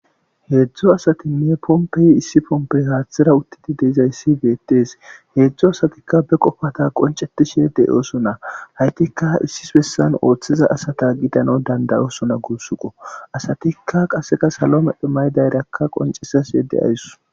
Heedzdzo asatinne pompeyi issi pompey haaththira uttidi deizayssi beettees heedzdzo asatikka be qofata qoncetishe deyoosona haytikka issis bessan ooththeza asata gidano dandayoosona guussuqo asatikka qaseka salo medhe maydayrakka qoncesas yedde ayss.